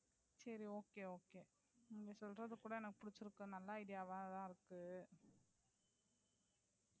சரி okay okay நீங்க சொல்றது கூட எனக்கு புடிச்சிருக்கு. நல்ல idea வா தான் இருக்கு.